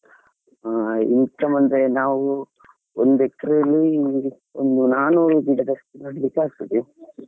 ಹಾ income ಅಂದ್ರೆ ನಾವು ಒಂದ್acre ಲಿ ಒಂದ್ ನಾಲ್ ನೂರು ಗಿಡದಷ್ಟು ನೆಡಲಿಕ್ಕೆ ಆಗ್ತದೆ.